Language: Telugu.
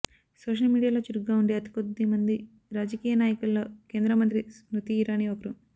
సోషల్ మీడియాలో చురుగ్గా ఉండే అతి కొద్దిమంది రాజకీయ నాయకుల్లో కేంద్ర మంత్రి స్మృతీ ఇరానీ ఒకరు